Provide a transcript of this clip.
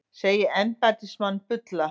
Segir embættismann bulla